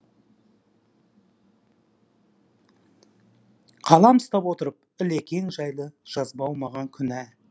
қалам ұстап отырып ілекең жайлы жазбау маған күнә